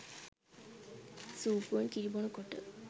සුප්පුවෙන් කිරි බොන කොට